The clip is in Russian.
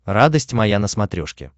радость моя на смотрешке